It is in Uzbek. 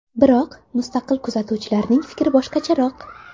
Biroq mustaqil kuzatuvchilarning fikri boshqacharoq.